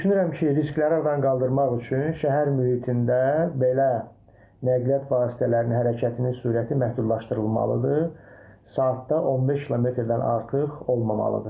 Düşünürəm ki, riskləri aradan qaldırmaq üçün şəhər mühitində belə nəqliyyat vasitələrinin hərəkətini sürəti məhdudlaşdırılmalıdır, saatda 15 kmdən artıq olmamalıdır.